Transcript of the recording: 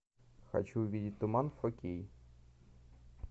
хочу увидеть туман фо кей